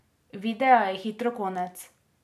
Videa je hitro konec.